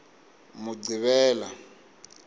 muqhivela